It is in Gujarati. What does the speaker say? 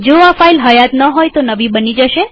જો આ ફાઈલ હયાત ન હોય તો નવી બની જશે